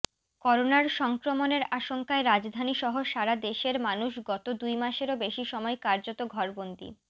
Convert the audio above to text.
করোনার সংক্রমণের আশঙ্কায় রাজধানীসহ সারাদেশের মানুষ গত দুই মাসেরও বেশি সময় কার্যত ঘরবন্দী